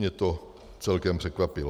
Mě to celkem překvapilo.